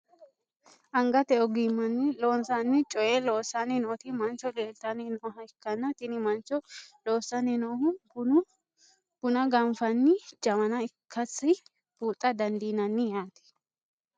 angate ogimmanni loonsanni coyee loossanni nooti mancho leeltanni nooha ikkanna, tini manchono loossanni noohu buna gafi'nanni jawana ikkasi buuxa dandiinanni yaate.